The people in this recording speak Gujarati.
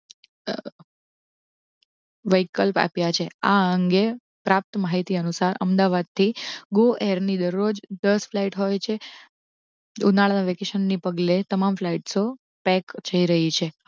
વિકલ્પ આપ્યા છે. આ અંગે પ્રાપ્ત માહિતી અનુસાર અમદાવાદ થી go air ની દરરોજ દસ ફલાઈટસો આવે છે ઉનાળા ની વેકેશન ની પગલે તમામ ફલાઈટસો પેક જઈ રહી છે દસ